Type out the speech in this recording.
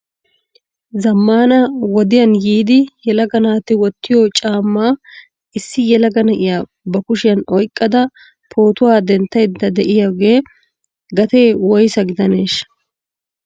Zammana wodiyaan yiidi yelaga naati wottiyo caamma issi yelaga na'iya ba kushiyan oyqqada pootuwa denttayda de'iyooga gatee woyssa gidanesh ?